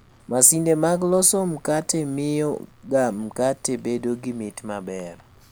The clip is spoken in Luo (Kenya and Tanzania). Masinde mag loso mkate mio ga mkate bedo gi mit maber